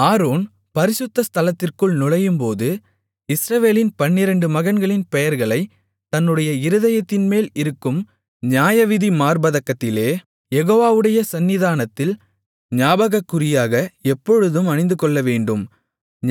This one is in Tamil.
ஆரோன் பரிசுத்த ஸ்தலத்திற்குள் நுழையும்போது இஸ்ரவேலின் பன்னிரண்டு மகன்களின் பெயர்களைத் தன்னுடைய இருதயத்தின்மேல் இருக்கும் நியாயவிதி மார்ப்பதக்கத்திலே யெகோவாவுடைய சந்நிதானத்தில் ஞாபகக்குறியாக எப்பொழுதும் அணிந்துகொள்ளவேண்டும்